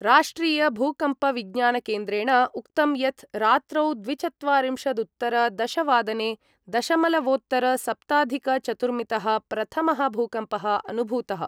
राष्ट्रियभूकम्पविज्ञानकेन्द्रेण उक्तं यत् रात्रौ द्विचत्वारिंशदुत्तरदशवादने दशमलवोत्तरसप्ताधिकचतुर्मितः प्रथमः भूकम्पः अनुभूतः।